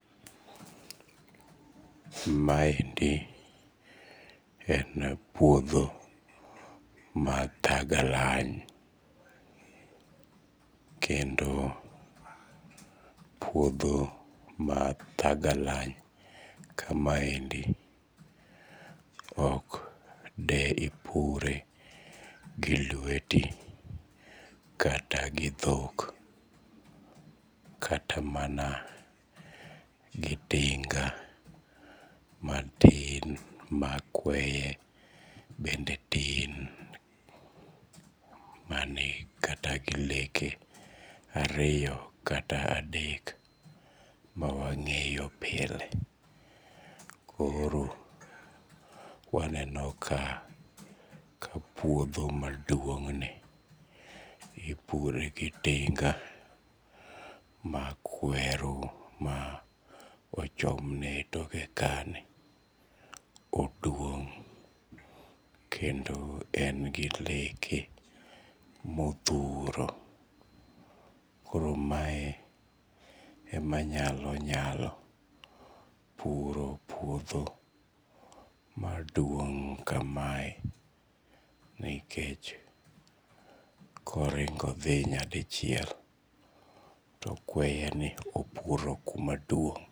Maendi en puodho mathagalany kendo puodho mathagalny ka maendi ok deipure gi lweti kata gi dhok kata mana gi tinga matin ma kweye bende tin, mane kata gi leke ariyo kata adek ma wang'eyo pile koro waneno ka puodho maduongni ipure gi tinga mar kweru ma ochomne e toke kanyo, oduong' kendo en gi leke mothuru koro maendi emanyalo nyalo puro puodho maduong' kamae nikech koringo dhi nyadichiel to kweyeni opuro kumaduong'